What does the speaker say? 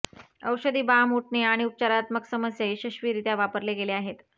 औषधी बाम उटणे आणि उपचारात्मक समस्या यशस्वीरित्या वापरले गेले आहेत